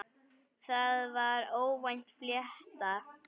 Það var óvænt flétta.